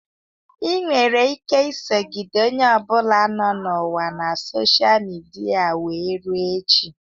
Ị nwere ike isogide onye ọ bụla nọ n'ụwa na sosha midia wee rue echi.